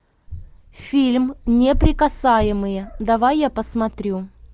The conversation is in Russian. фильм неприкасаемые давай я посмотрю